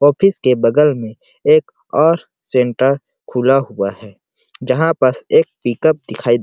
office के बगल में एक और सेंटर खुला हुआ है जहाँ पस एक पिकप दिखाई दे--